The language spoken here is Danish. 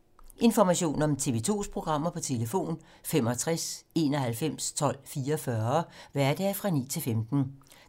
Information om TV 2's programmer: 65 91 12 44, hverdage 9-15.